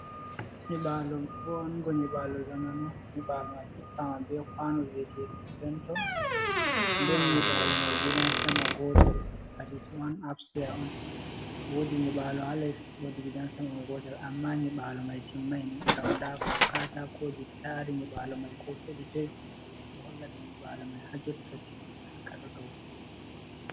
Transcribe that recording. Nyibalo vongo nyibalo zamanu, nyiɓalo mai hippama be kwano nden nyibalo mai gidan sama gotel dat is wan absteyas on wodi nyibalo ha les wodi gidan sama gotel, amma nyibalo mai timmai ngam nda katakoji tari nyibalo mai ko hedi toi ɗo holla ɗo nyibalo mai ha jotta timmina ka ɗo dow kugal.